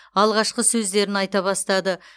алғашқы сөздерін айта бастады